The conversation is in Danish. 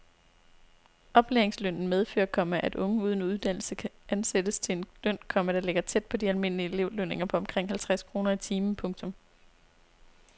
Oplæringslønnen medfører, komma at unge uden uddannelse kan ansættes til en løn, komma der ligger tæt på de almindelige elevlønninger på omkring halvtreds kroner i timen. punktum